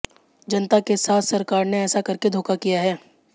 जनता के साथ सरकार ने ऐसा करके धोखा किया है